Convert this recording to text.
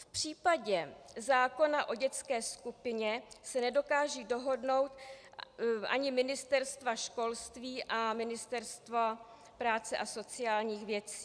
V případě zákona o dětské skupině se nedokážou dohodnout ani Ministerstvo školství a Ministerstvo práce a sociálních věcí.